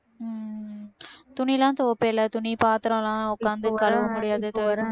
உம் துணி எல்லாம் துவைப்பே இல்லை துணி பாத்திரம் எல்லாம் உக்காந்து கழுவ முடியாது